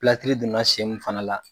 donna sen min fana la